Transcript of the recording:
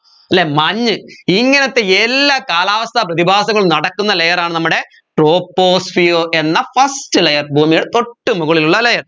അല്ലെ മഞ്ഞ് ഇങ്ങനെത്തെ എല്ലാ കാലാവസ്ഥ പ്രതിഭാസങ്ങളും നടക്കുന്ന layer ആണ് നമ്മുടെ troposphere എന്ന first layer ഭൂമിയുടെ തൊട്ടുമുകളിലുള്ള layer